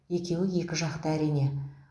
екеуі екі жақта әрине